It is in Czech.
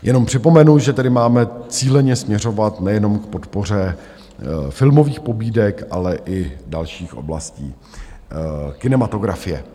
Jenom připomenu, že tedy máme cíleně směřovat nejenom k podpoře filmových pobídek, ale i dalších oblastí kinematografie.